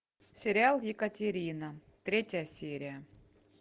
сериал екатерина третья серия